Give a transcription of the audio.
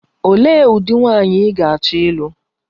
Olee ụdị nwaanyị ị ga-achọ ịlụ?